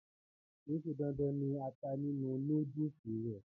kìí ṣe dandan ni ata nínú núdùsì rẹ̀